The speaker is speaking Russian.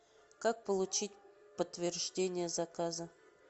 как получить подтверждение заказа